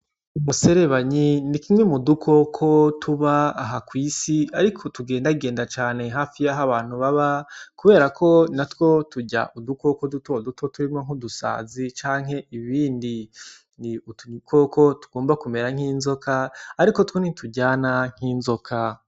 Umuserebanyi ni kimwe mudukoko tuba aha kw'isi ariko tugendagenda cane hafi yaho abantu baba, kubera ko turya udukoko duto duto turimwo nkudusazi canke ibindi, utu dukoko tugomba kumera nk'inzoka ariko two ntituryana nk'inzoka.